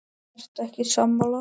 Ertu ekki sammála?